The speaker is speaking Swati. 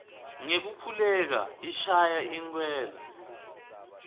ngekukhululeka ishaya inkwela